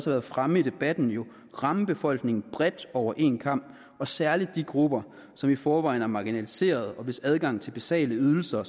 været fremme i debatten jo ramme befolkningen bredt over en kam og særlig de grupper som i forvejen er marginaliserede og hvis adgang til basale ydelser